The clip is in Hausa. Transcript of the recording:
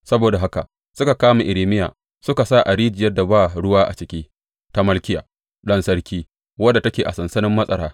Saboda haka suka kama Irmiya suka sa a rijiyar da ba ruwa a ciki ta Malkiya, ɗan sarki, wadda take a sansanin matsara.